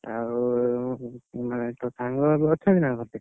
ଆଉ ତୋ ସାଙ୍ଗ, ଏବେ ଅଛନ୍ତି ତୋ କତିରେ?